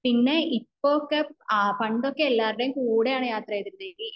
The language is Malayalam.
പിന്നെ ഇപ്പൊ ഒക്കെ പണ്ടൊക്കെ ആണ് യാത്ര ചെയ്തിരുന്നത്